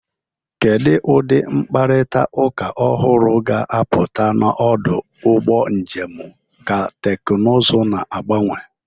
Kedu ụdị mkparịta ụka ọhụrụ ga-apụta na ọdụ ụgbọ njem ka teknụzụ na-agbanwe?